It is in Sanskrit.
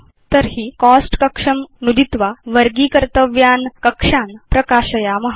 तर्हि प्रथमं वयं कोस्ट कक्षं नुदित्वा वर्गीकर्तव्यान् कक्षान् प्रकाशयाम